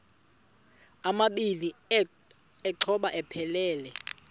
amabini exhobe aphelela